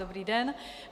Dobrý den.